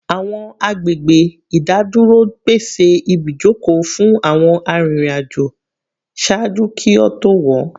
Awọn agbegbe idaduro pese ibijoko fun awọn aririn ajo ṣaaju ki o to wọ